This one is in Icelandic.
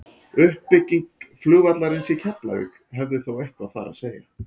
uppbygging flugvallarins í keflavík hafði þó eitthvað þar að segja